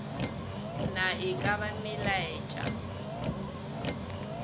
na e ka ba melaetša